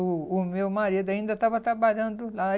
O o meu marido ainda estava trabalhando lá.